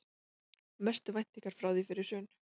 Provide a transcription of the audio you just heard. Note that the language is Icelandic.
Mestu væntingar frá því fyrir hrun